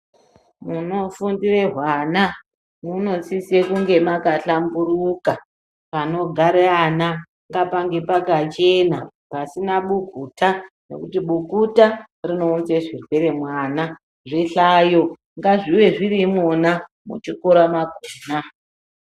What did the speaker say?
Munofundire hwana munosisa kunge makahlamburuka. Panogara ana ngapange pakachena pasina bukuta ngekuti bukuta rinounza zvirwere. Zvihlayo ngazvive zviri imwona muchikora mwakona.